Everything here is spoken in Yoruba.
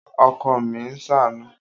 Ọkọ mi ń ṣàánú